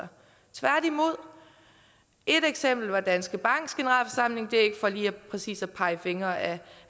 tværtimod et eksempel er fra danske banks generalforsamling det er ikke for lige præcis at pege fingre ad